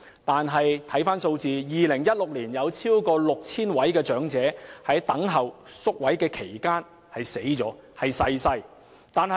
但在2016年，有超過 6,000 名長者在等候宿位期間逝世。